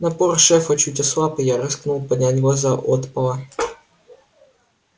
напор шефа чуть ослаб и я рискнул поднять глаза от пола